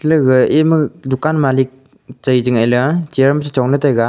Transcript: ega ema dukan malik chai che ngai lea chair ma che chong le taiga.